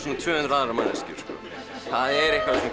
tvö hundruð aðrar manneskjur það er einhver